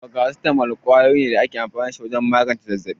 Farasitamol kwayoyi ne da ake amfani da su don magance zazzabi.